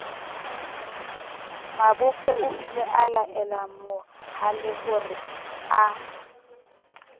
mabophe oile a laelamohalehore a